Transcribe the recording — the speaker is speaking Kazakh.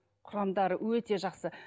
құрамдары өте жақсы